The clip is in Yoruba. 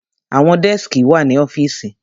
Àwọn dẹ́skì wà ní ọ́fìsì.